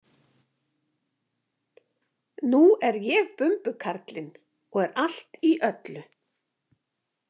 Nú er ég bumbukarlinn og er allt í öllu